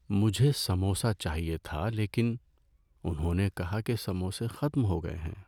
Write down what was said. مجھے سموسہ چاہیے تھا لیکن انہوں نے کہا کہ سموسے ختم ہو گئے ہیں۔